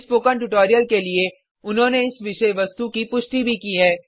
इस spoken tutorial के लिए उन्होंने इस विषय वस्तु की पुष्टि भी की है